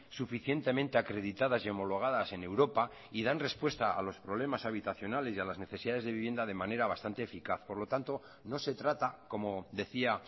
suficientemente acreditadas y homologadas en europa y dan respuesta a los problemas habitacionales y a las necesidades de vivienda de manera bastante eficaz por lo tanto no se trata como decía